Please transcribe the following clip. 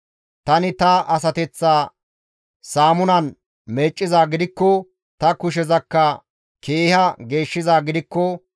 Tani ta asateththa saamunan meeccizaa gidikko, ta kushezakka keeha geeshshizaa gidikko,